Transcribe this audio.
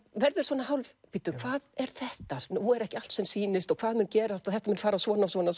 verður svona hálf bíddu hvað er þetta nú er ekki allt sem sýnist og hvað mun gerast og þetta mun fara svona svona